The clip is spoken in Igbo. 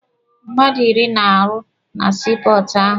Mmadụ iri na-arụ na sii pọọtụ ahụ.